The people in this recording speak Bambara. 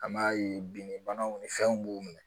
An m'a ye bin banaw ni fɛnw b'u minɛ